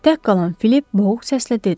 Tək qalan Filip boğuq səslə dedi: